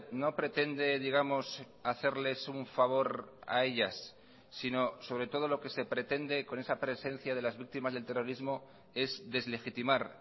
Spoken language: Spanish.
no pretende digamos hacerles un favor a ellas sino sobre todo lo que se pretende con esa presencia de las víctimas del terrorismo es deslegitimar